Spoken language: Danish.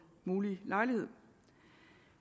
mulige lejlighed